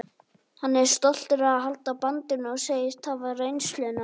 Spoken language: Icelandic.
Hann er stoltur að halda bandinu og segist hafa reynsluna.